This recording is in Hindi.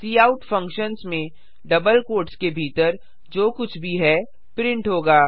काउट फंक्शन्स में डबल क्वोट्स के भीतर जो कुछ भी है प्रिंट होगा